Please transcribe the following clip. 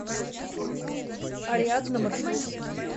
ариадна маршрут